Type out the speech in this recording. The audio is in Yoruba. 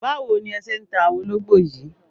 Báwo ni ẹ ṣé ń ta àwọn ológbò yìí?